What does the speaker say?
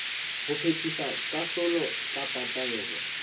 ho phethisa kahlolo kapa taelo